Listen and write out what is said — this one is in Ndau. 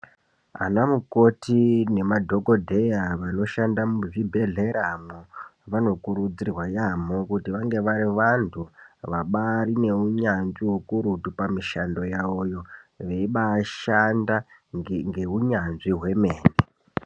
Anamukoti nemadhokodheya vanoshanda muzvibhedhleramwo, vanokurudzirwa yaamho kuti vange vari vantu vabari neunyanzvi ukurutu pamishando yavoyo, veibashanda ngehunyanzvi hwemene.